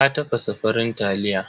Ta tafasa farin taliya.